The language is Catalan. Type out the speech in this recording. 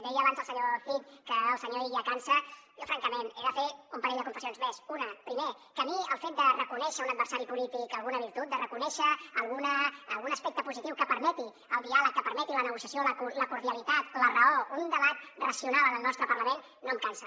deia abans el senyor cid que el senyor illa cansa jo francament he de fer un parell de confessions més una primer que a mi el fet de reconèixer a un adversari polític alguna virtut de reconèixer algun aspecte positiu que permeti el diàleg que permeti la negociació la cordialitat la raó un debat racional en el nostre parlament no em cansa